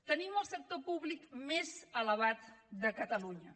tenim el sector públic més elevat de catalunya